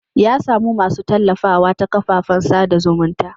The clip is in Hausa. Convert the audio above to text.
Ya samu masu tallafawa ta kafafen sada zumunta.